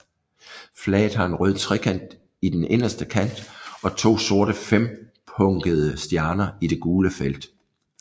Flaget har en rød trekant i den inderste kant og to sorte fempunkede stjerner i det gule felt